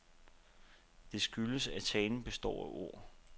Det skyldes, at talen består af ord.